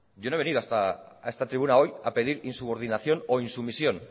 yo no he venido a esta tribuna hoy a pedir insubordinación o insumisión